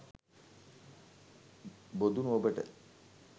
බොදුනු ඔබට